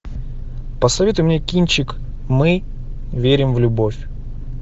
посоветуй мне кинчик мы верим в любовь